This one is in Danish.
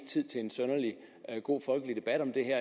tid til en synderlig god folkelig debat om det her